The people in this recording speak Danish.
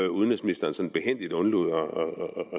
udenrigsministeren sådan behændigt undlod at